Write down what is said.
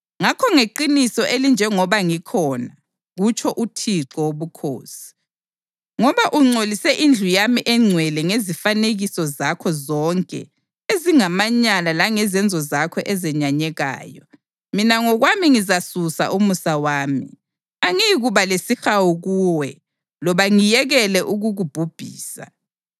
Ngakho ngeqiniso elinjengoba ngikhona, kutsho uThixo Wobukhosi, ngoba ungcolise indlu yami engcwele ngezifanekiso zakho zonke ezingamanyala langezenzo zakho ezenyanyekayo, mina ngokwami ngizasusa umusa wami; angiyikuba lesihawu kuwe loba ngiyekele ukukubhubhisa.